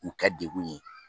K'u kɛ degun ye